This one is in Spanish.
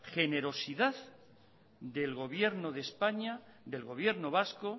generosidad del gobierno de españa del gobierno vasco